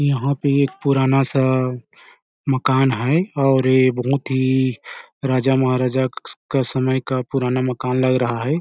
यहाँ पे एक पुराना -सा मकान है और ये बहुत ही राजा -महाराजा क का समय का पुराना मकान लग रहा हैं ।